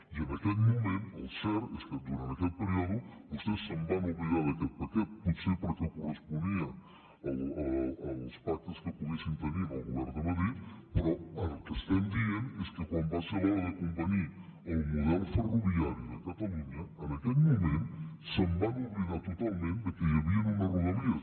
i en aquell moment el cert és que durant aquell període vostès es van oblidar d’aquest paquet potser perquè corresponia als pactes que poguessin tenir amb el govern de madrid però el que estem dient és que quan va ser l’hora de convenir el model ferroviari de catalunya en aquell moment es van oblidar totalment que hi havien unes rodalies